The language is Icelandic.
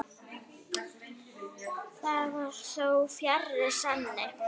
Það var þó fjarri sanni.